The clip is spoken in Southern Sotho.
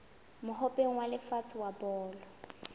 mohope wa lefatshe wa bolo